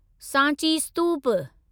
Sanchi स्तूप